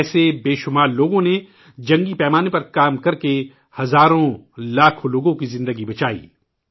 ایسے بہت سے لوگوں نے جنگی پیمانے پر کام کیا اور ہزاروں اور لاکھوں لوگوں کی جانیں بچائیں